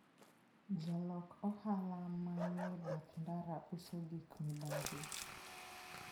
Jolok ohala ma nie bath ndara uso gik mibathi.